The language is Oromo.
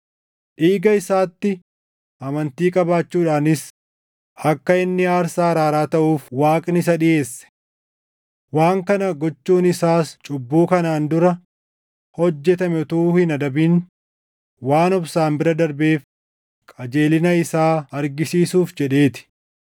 Dhiiga isaatti amantii qabaachuudhaanis akka inni aarsaa araaraa taʼuuf Waaqni isa dhiʼeesse. Waan kana gochuun isaas cubbuu kanaan dura hojjetame utuu hin adabin waan obsaan bira darbeef qajeelina isaa argisiisuuf jedhee ti;